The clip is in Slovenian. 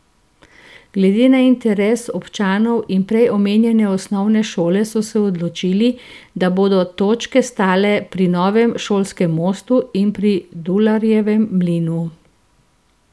Glede na interes občanov in prej omenjene osnovne šole so se odločili, da bodo točke stale pri novem šolskem mostu in pri Dularjevem mlinu.